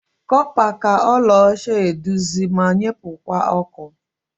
Copa ka ọla ọcha eduzi ma nyepukwa ọkụ.